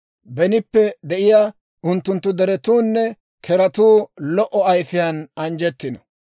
Benippe de'iyaa unttunttu deretuunne zoozetuu lo"o ayifiyaan anjjettino.